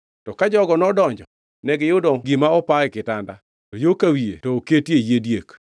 To ka jogo nodonjo negiyudo gima opa e kitanda, to yo ka wiye to oketie yie diek.